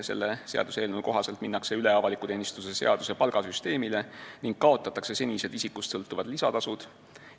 Selle seaduseelnõu kohaselt minnakse üle avaliku teenistuse seaduse palgasüsteemile ning kaotatakse senised isikust sõltuvad lisatasud.